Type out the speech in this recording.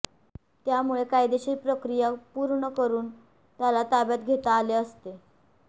त्यामुळे कायदेशीर प्रक्रिया पूर्ण करून त्याला ताब्यात घेता आले असते